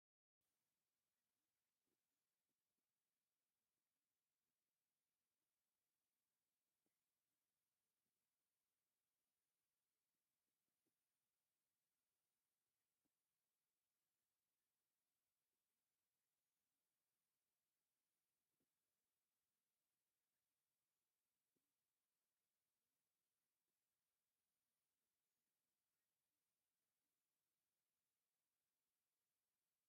ኣብዚ ሓደ ሰብኣይ ኣብ ጥቓ ጸሊም ማዕጾ ደው ኢሉ ይርአ። ብድሕሪኡ ንታሕቲ ዝወስድ መደያይቦን ብሽክለታን ኣለዋ። ኣብ ጥቓ እቲ ጽርግያ፡ ብሓጺንን ብእሾኽን ዝተኸበበ ነዊሕ መንደቕ ኣሎ። ፀጥታን መከላኸልን ቦታ፡ ኣብ ንጹር ብርሃን መዓልቲ ዘርኢ እዩ።